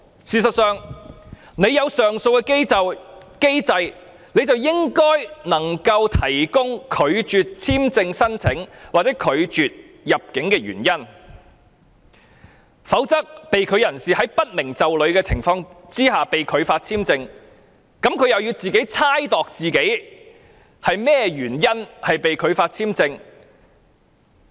事實上，既然設有上訴機制，政府便理應提供拒絕入境的原因，否則在不明就裏的情況下被拒發簽證的人士，需要猜度自己因為甚麼原因被拒發簽證。